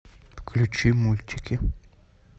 включи мультики